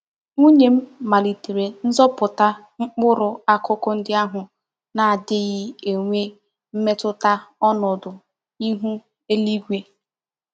Nwunye m malitere nzuputa mkpuru akuku ndi ahu n'adighi enwe mmetuta onodu ihu eluigwe.